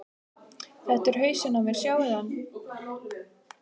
Þetta er hausinn á mér, sjáiði hann?